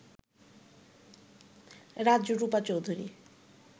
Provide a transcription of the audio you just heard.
Rajrupa Chowdhury